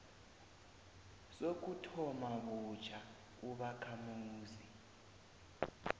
sokuthoma butjha ubakhamuzi